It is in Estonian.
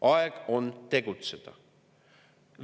Aeg on tegutseda!